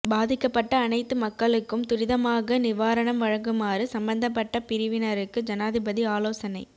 பாதிக்கப்பட்ட அனைத்து மக்களுக்கும் துரிதமாக நிவாரணம் வழங்குமாறு சம்பந்தப்பட்ட பிரிவினருக்கு ஜனாதிபதி ஆலோசனை